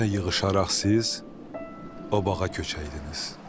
Yenə yığışaraq siz o bağa köçəydiniz.